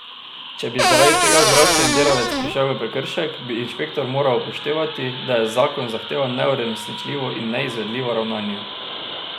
Če bi zaradi tega zdravstveni delavec prišel v prekršek, bi inšpektor moral upoštevati, da je zakon zahteval neuresničljivo in neizvedljivo ravnanje.